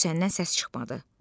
Süsəndən səs çıxmadı.